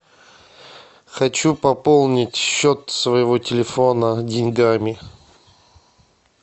хочу пополнить счет своего телефона деньгами